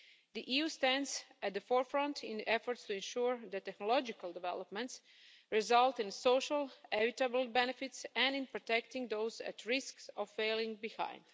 The EU stands at the forefront in efforts to ensure that technological developments result in social equitable benefits and in protecting those at risk of falling behind.